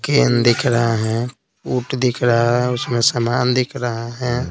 Can दिख रहा है दिख रहा है उसमें समान दिख रहा है।